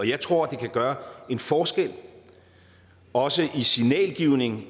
jeg tror at det kan gøre en forskel også i signalgivningen